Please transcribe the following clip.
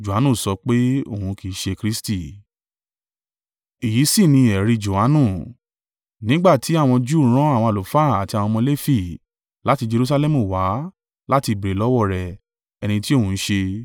Èyí sì ni ẹ̀rí Johanu, nígbà tí àwọn Júù rán àwọn àlùfáà àti àwọn ọmọ Lefi láti Jerusalẹmu wá láti béèrè lọ́wọ́ rẹ̀ ẹni tí òun ń ṣe.